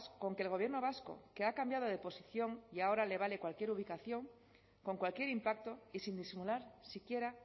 con que el gobierno vasco que ha cambiado de posición y ahora le vale cualquier ubicación con cualquier impacto y sin disimular siquiera